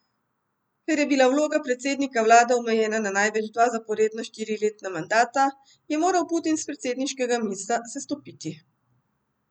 Ker je bila vloga predsednika vlade omejena na največ dva zaporedna štiriletna mandata, je moral Putin s predsedniškega mesta sestopiti.